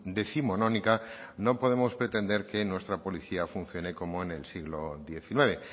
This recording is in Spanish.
décimonónica no podemos pretender que nuestra policía funcione como en el siglo diecinueve